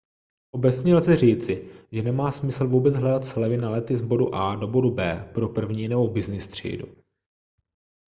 obecně lze říci že nemá smysl vůbec hledat slevy na lety z bodu a do bodu b pro první nebo byznys třídu